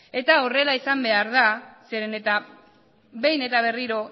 eta horrela izan behar da zeren eta behin eta berriro